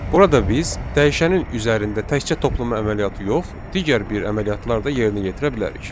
Burada biz dəyişənin üzərində təkcə toplama əməliyyatı yox, digər bir əməliyyatlar da yerinə yetirə bilərik.